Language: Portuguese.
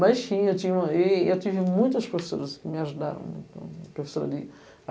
Mas, tinha, tinha uma eu tive muitas professoras que me ajudaram. Professora de